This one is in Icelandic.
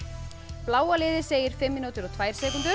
bláa liðið segir fimm mínútur og tvær sekúndur